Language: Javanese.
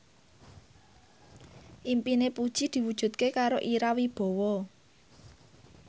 impine Puji diwujudke karo Ira Wibowo